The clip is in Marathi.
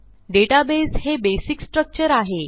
डेटाबेस हे बेसिक स्ट्रक्चर आहे